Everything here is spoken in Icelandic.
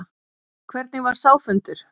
Hvernig var sá fundur?